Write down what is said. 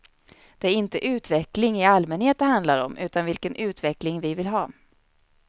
Det är inte utveckling i allmänhet det handlar om, utan vilken utveckling vi vill ha.